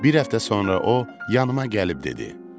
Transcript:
Bir həftə sonra o yanıma gəlib dedi: